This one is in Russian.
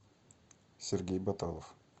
сергей баталов